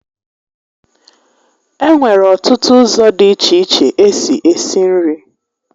E nwere ọtụtụ ụzọ dị iche iche esi esi nri